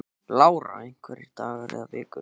Lára: Einhverjir dagar eða vikur?